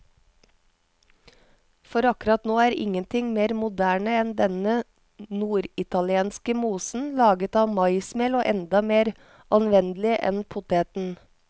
For akkurat nå er ingenting mer moderne enn denne norditalienske mosen, laget av maismel og enda mer anvendelig enn poteten.